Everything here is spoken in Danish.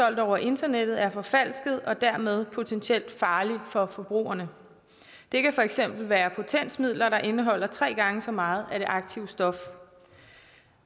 solgt over internettet er forfalsket og dermed potentielt farlig for forbrugerne det kan for eksempel være potensmidler der indeholder tre gange så meget af det aktive stof